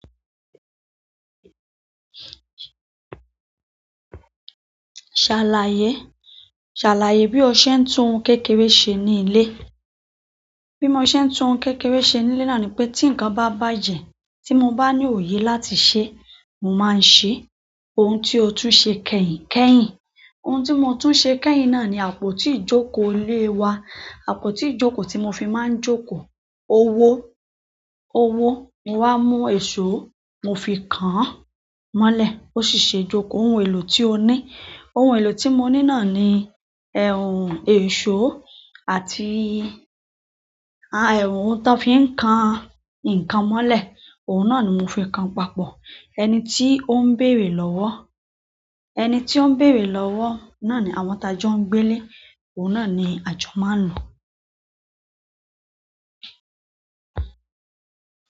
Ṣàlàyé, ṣàlàyé bí o ṣe ń tún ohun kékeré ṣe ní ilé. Bí mo ṣe ń tún ohun kékeré ṣe ní ilé náà ni pé tí nǹkan bá bàjẹ́ tí mo bá ní òye láti ṣe, mo máa ń ṣe. Ohun tí o tún ṣe kẹ́yìn kẹ́yìn. Ohun tí mo tún ṣe kẹ́yìn náà ni àpótí ìjókòó ilé wa. Àpótí ijoko ti mo fi máà n joko owó, owó, mo wá mú èṣó mo fi kán mọ́lẹ̀. Ó sì ṣe ìjókòó ohun èlò tí ó ní. Ohun èlò tí mo ní náà ni ẹ̀wọ̀n èṣó àti à ẹ̀wọ̀n tó fi ń kan nǹkan mọ́lẹ̀. Ohun náà ni mo fi ń kan papọ̀. Ẹni tí ó ń bèrè lọ́wọ́, ẹni tí ó ń bèrè lọ́wọ́ náà ni àwọn t'ajo ń gbé le. Ohun náà ni ajo máa ń lo.